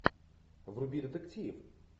вруби детектив